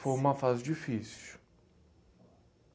Foi uma fase difícil.